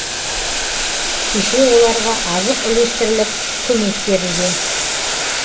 кеше оларға азық үлестіріліп көмек берілген